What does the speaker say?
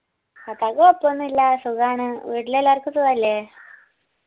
താത്താക്ക് കൊയ്‌പോന്നുല്ല്യ സുഗാണ് വീട്ടിലെല്ലാർക്കു സുഖല്ലേ